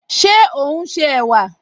Ṣé ò ún ṣe ẹ̀wà?